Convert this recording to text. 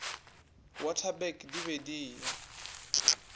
waterberg di be di eya